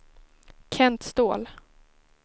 Kent Ståhl